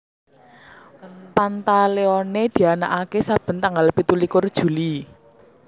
Pantaleone dianakaké saben tanggal pitu likur Juli